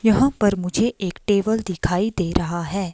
यहां पर मुझे एक टेबल दिखाई दे रहा है।